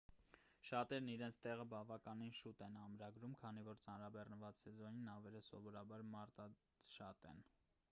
շատերն իրենց տեղը բավականին շուտ են ամրագրում քանի որ ծանրաբեռնված սեզոնին նավերը սովորաբար մարդաշատ են։